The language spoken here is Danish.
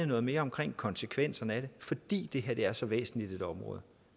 noget mere om konsekvenserne af det fordi det her er så væsentligt et område